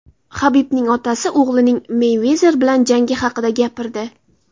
Habibning otasi o‘g‘lining Meyvezer bilan jangi haqida gapirdi.